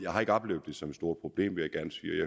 har ikke oplevet det som et stort problem